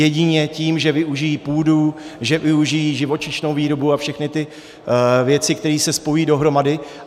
Jedině tím, že využijí půdu, že využijí živočišnou výrobu a všechny ty věci, které se spojí dohromady.